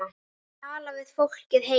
Að tala við fólkið heima.